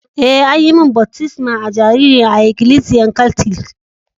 Eh, an yi mun baftisma a'jariri a'ikilisiyan katlic.